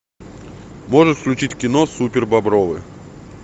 можешь включить кино супербобровы